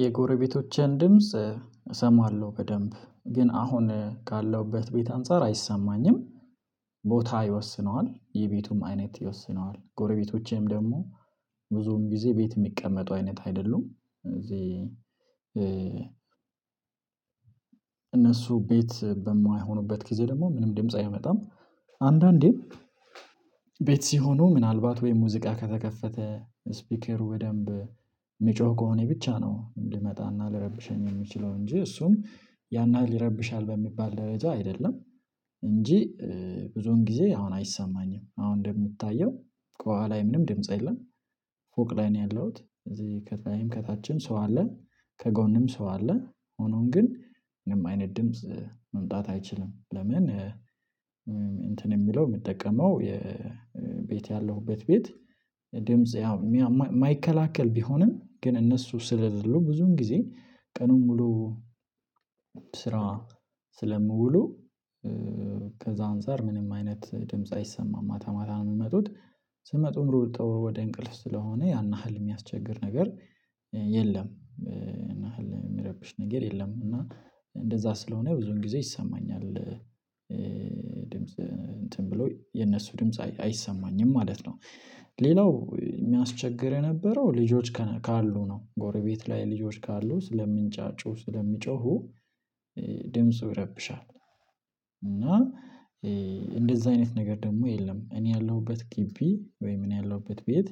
የጎረቤቶቼን ድምጽ እሰማለሁ፤ በደንብ ግን አሁን ካለሁበት ቤት አንፃር አይሰማኝም። ቦታ ይወስነዋል፤ የቤቱም አይነት ይወስነዋል፤ ጎረቤቶቼም ደግሞ ብዙውን ጊዜ ቤት የሚቀመጡ አይነት አይደሉም። እዚህ እነሱ ቤት በማይሆኑበት ጊዜ ደግሞ ምንም ድምጽ አይመጣም፤ አንዳንዴም ቤት ሲሆኑ ምናልባት ወይም ሙዚቃ ከተከፈተ ስፒከሩ በደንብ የሚጮህ ከሆነ ብቻ ነው ምን ልመጣና ልረብሸኝ የምችለው እንጂ እሱም ያን ያህል ይረብሻል በሚባል ደረጃ አይደለም። እንጂ ብዙን ጊዜ አሁን አይሰማኝም አሁን እንደምታየው ከኋላ ምንም ድምጽ የለም። ፎቅ ላይ ነው ያለሁት ከታችን ሰው አ፤ ከጎንም ሰው አለ ሆኖን ግን ምንም አይነት ድምጽ መምጣት አይችልም ለምን እንትን የሚለው የሚጠቀመው የቤት ያለሁበት ቤት ድምጽ የማይከላከል ቢሆንም ግን እነሱ ስለሌሉ ብዙን ጊዜ ቀኑን ሙሉ ስራ ስለምውሉ ከዛ አንፃር ምንም አይነት ድምጽ አይሰማም። ማታ ማታ ነው የሚመጡት ሲመጡም ሩጠው ወደ እንቅልፍ ስለሆነ ያን ያህል የሚያስቸግር ነገር የለም፤ የሚረብሽ ነገር የለም። እንደዛ ስለሆነ ብዙን ጊዜ ይሰማኛል ድምጽ እንትን ብሎ የነሱ ድምጽ አይሰማኝም ማለት ነው። ሌላው የሚያስቸግር የነበረው ልጆች ካሉ ነው ጎረቤት ላይ ልጆች ካሉ ስለምንጫጩ፤ ስለሚጮሁ ድምፁ ይረብሻል እና እንደዚህ አይነት ነገር ደግሞ የለም እኔ ያለሁበት ግቢ ወይም እኔ ያለሁበት ቤት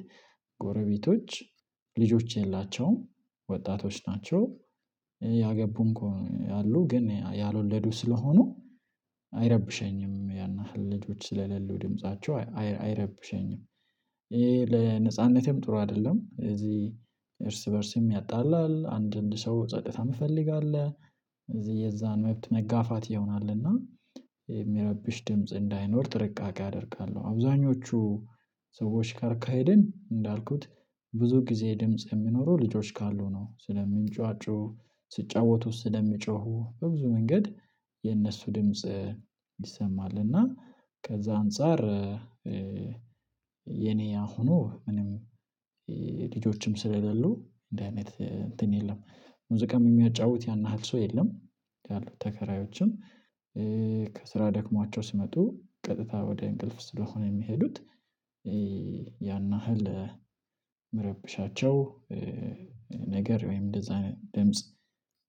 ጎረቤቶች ልጆች የላቸውም፤ ወጣቶች ናቸው ያገቡም እኮ አሉ፤ ግን ያልወለዱ ስለሆኑ አይረብሸኝም፤ ያን ያህል ልጆች ስለሌሉ ድምፃቸው አይረብሸኝም፤ ይሄ ለነፃነቴም ጥሩ አይደለም እዚህ እርስ በእርስም ያጣላል፤ አንድንድ ሰው ጸጥታ የሚፈልግ አለ እዚህ የዛን መብት መጋፋት ይሆናልና የሚረብሽ ድምጽ እንዳይኖር ጥርቃቄ አደርጋለሁ አብዛኞቹ ሰዎች ጋር ከሄድን እንዳልኩት ብዙ ጊዜ ድምጽ የምኖረው ልጆች ካሉ ነው ስለምንጫጩ ስጫወቱት፤ ስለምጮሁ በብዙ መንገድ የእነሱ ድምጽ ይሰማል እና ከዛ አንፃር የኔ ያሆኖ ምንም ልጆችም ስለሌሉ እንደዚህ አይነት የለም ሙዚቃም የሚያጫውት ያን ያህል ሰው የለም ያሉት ተከራዮችም ከስራ ደክሟቸው ሲመጡ ቀጥታ ወደ እንቅልፍ ስለሆነ የሚሄዱት ያን ያህል መረብሻቸው ነገር ወይም እንደዛ አይነት ድምጽ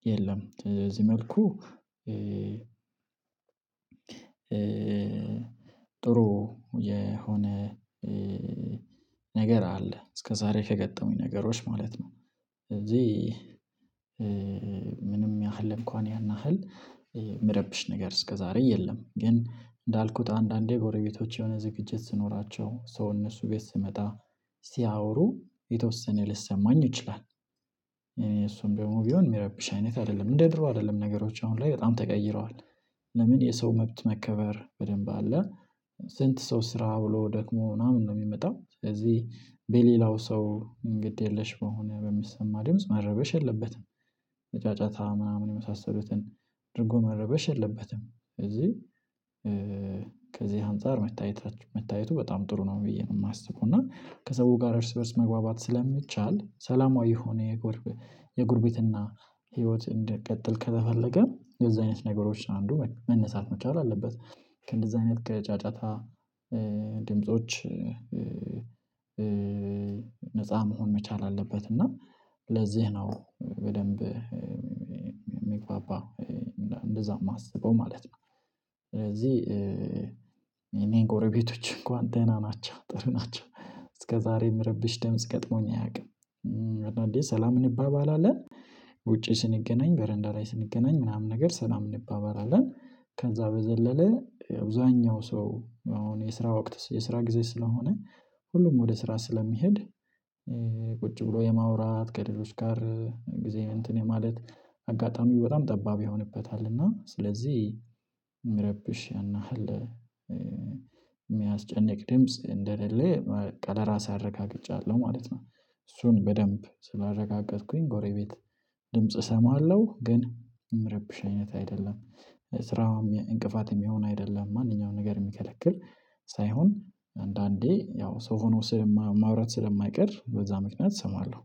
የለም እዚህ መልኩ ጥሩ የሆነ ነገር አለ፤ እስከዛሬ ከገጠሙኝ ነገሮች ማለት ነው እዚህ ምንም ያህል እንኳን ያን ያህል የምረብሽ ነገር እስከዛሬ የለም ግን እንዳልኩት አንዳንዴ ጎረቤቶች የሆነ ዝግጅት ስኖራቸው ሰው እነሱ ቤት ስመጣ ሲያወሩ የተወሰነ ልሰማኝ ይችላል እሱም ደሞም ቢሆን የሚረብሽ አይነት አይደለም እንደ ድሮ አይደለም ነገሮች አሁን ላይ በጣም ተቀይረዋል ለምን የሰው መብት መከበር በደንብ አለ፤ ስንት ሰው ስራ ብሎ ደክሞ ምናምን ነው የሚመጣው። ስለዚህ በሌላው ሰው እንግድ የለሽ በሆነ በሚሰማ ድምጽ መረበሽ የለበትም። ጫጫታ ምናምን የመሳሰሉትን ድርጎ መረበሽ የለበትም ስለዚህ እዚህ ከዚህ አንፃር መታየቱ በጣም ጥሩ ነው ብዬ ነው የማስበው እና ከሰው ጋር እርስ በእርስ መግባባት ስለሚቻል ሰላማዊ የሆነ የጎርብ የጉርብትናት ህይወት እንደቀጠል ከተፈለገ እንደዚህ አይነት ነገሮች አንዱ መነሳት መቻል አለበት ከእንደዚህ አይነት ከጫጫታ ድምጾች ነፃ መሆን መቻል አለበት እና ለዚህ ነው በደንብ ሚግባባ እንደዛ የማስበው ማለት ነው ስለዚህ እኔ ጎረቤቶች እንኳን ደህና ናቸው፤ ጥሩ ናቸው፤ እስከዛሬ የምረብሽ ድምጽ ገጥሞኝ አያውቅም እና አንዳንዴ ሰላም እንባባላለን። ውጪ ስንገናኝ በረንዳ ላይ ስንገናኝ ምናምን ነገር ሰላም እንባባላለን ከዛ በዘለለ አብዛኛው ሰው አሁን የስራ ወቅት የስራ ጊዜ ስለሆነ ሁሉም ወደ ስራ ስለሚሄድ ቁጭ ብሎ የማውራት ከሌሎች ጋር ጊዜ እንትን የማለት አጋጣሚው በጣም ጠባብ ይሆንበታል እና ስለዚህ የምረብሽ እና ያን ያህል የሚያስጨንቅ ድምጽ እንደሌለ በቃ ለራሴ አረጋግጫለሁ ማለት ነው። እሱን በደንብ ስላረጋገጥኩኝ ጎሬቤት ድምጽ እሰማለሁ ግን እምረብሽ አይነት አይደለም፤ ስራውም እንቅፋት የሚሆን አይደለም፤ ማንኛውንም ነገር የሚከለክል ሳይሆን አንዳንዴ ያው ሰው ሆኖ ሰው ማውራት ስለማይቀር በዛ ምክንያት እሰማለሁ።